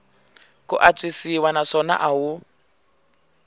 ku antswisiwa naswona a wu